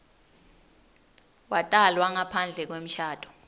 watalwa ngaphandle kwemshado